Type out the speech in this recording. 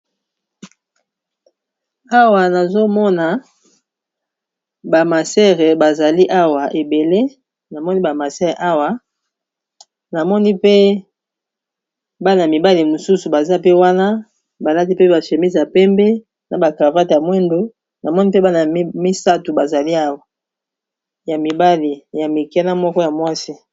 awa nazomona ebelnamoni ba masere awa namoni mpe bana mibale mosusu baza pe wana baladi mpe bashémisa pembe na bacravate ya mwendo namoni mpe bana y misat bazali aya mibale ya mikena moko ya mwasi